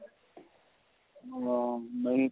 ਹਾਂ ਨਹੀਂ ਤਾਂ